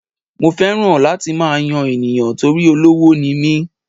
Mo fẹ́ràn láti máa yan ènìyàn torí olówó ni mí.